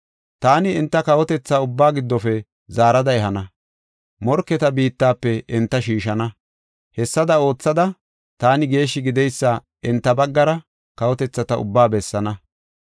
Taani enta kawotethata ubbaa giddofe zaarada ehana; morketa biittafe enta shiishana. Hessada oothada, taani geeshshi gideysa enta baggara kawotethata ubbaa bessaana.